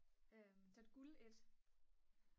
der er et guld et